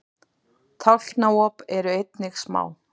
tálknaop eru einnig smá